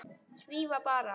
Svífa bara.